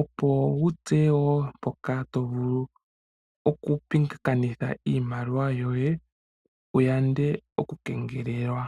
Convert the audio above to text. opo wu tseye mpoka wo to vulu kupingakanitha iimaliwa yoye wu yande okukengelelwa.